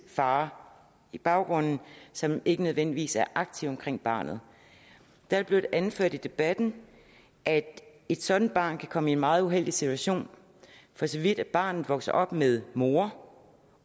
far i baggrunden som ikke nødvendigvis er aktiv omkring barnet det er blevet anført i debatten at et sådant barn kan komme i en meget uheldig situation for så vidt at barnet vokser op med mor